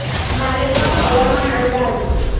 मालेगाव हवामान अंदाज